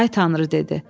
“Ay Tanrı,” dedi.